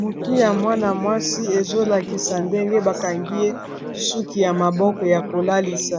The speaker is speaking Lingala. Motu ya mwana-mwasi ezolakisa ndenge bakangi ye suki ya maboko ya kolalisa